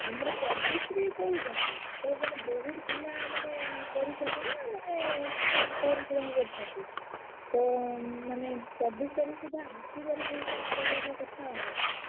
ଆମର ଚବିଶି କହୁଛନ୍ତି ତ ମାନେ ଚବିଶି ତାରିଖ୍ ସୁଦ୍ଧା କଣ ସେଇ ହେଲା କଥା ଆଉ।